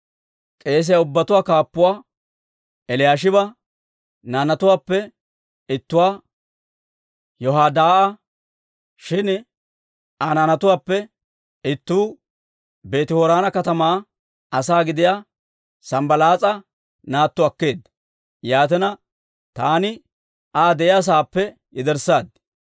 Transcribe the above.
K'eesiyaa ubbatuwaa kaappuwaa Eliyaashiba naanatuwaappe ittuu Yoyaadaa'a; shin Aa naanatuwaappe ittuu Beeti-Horoona katamaa asaa gidiyaa Sanbbalaas'a naatto akkeedda. Yaatina, taani Aa ta de'iyaa sa'aappe yederssaad.